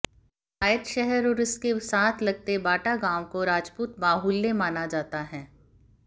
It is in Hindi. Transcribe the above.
कलायत शहर और इसके साथ लगते बाटा गांव को राजपूत बाहुल्य माना जाता है